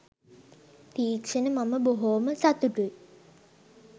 තීක්ෂණ මම බොහෝම සතුටුයි